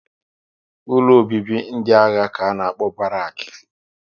Ụlọ obibi ndị agha ka a na-akpọ Barak